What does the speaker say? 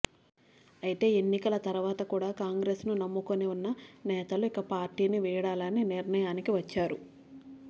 అయితే ఎన్నికల తర్వాత కూడ కాంగ్రెస్ ను నమ్ముకొని ఉన్న నేతలు ఇక పార్టీని వీడాలని నిర్ణయానికి వచ్చారు